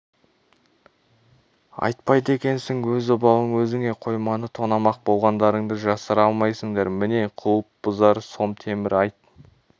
айтпайды екенсің өз обалың өзіңе қойманы тонамақ болғандарыңды жасыра алмайсыңдар міне құлып бұзар сом темір айт